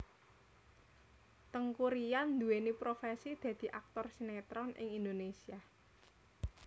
Teuku Ryan nduwéni profesi dadi aktor sinetron ing Indonésia